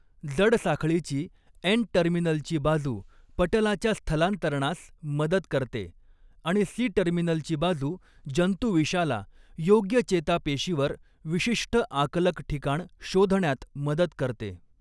जड साखळीची एन टर्मिनलची बाजू पटलाच्या स्थलांतरणास मदत करते आणि सी टर्मिनलची बाजू जंतुविषाला योग्य चेतापेशीवर विशिष्ट आकलक ठिकाण शोधण्यात मदत करते.